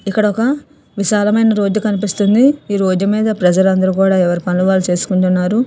ఇక్కడ ఒక విశాలమైన రోడ్డు కనిపిస్తుంది. ఈ రోడ్డు మీద ప్రజలందరూ కూడా ఎవరి పనులు వాళ్ళు చేసుకుంటున్నారు.